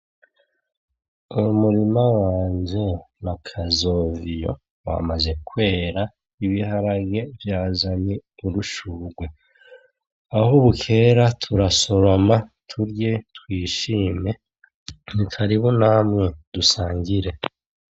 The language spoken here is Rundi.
Uyu murima wanje na kazoviyo wamaze kwera, ibiharage vyazanye udushurwe. Aho bukera turasoroma turye twishime karibu Namwe dusangire.